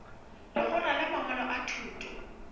legora la mangwalo a thuto